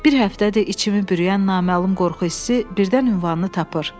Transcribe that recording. Bir həftədir içimi bürüyən naməlum qorxu hissi birdən ünvanını tapır.